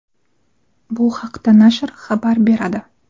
Bu haqda nashr xabar beradi.